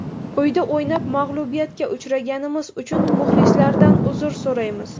Uyda o‘ynab, mag‘lubiyatga uchraganimiz uchun muxlislardan uzr so‘raymiz.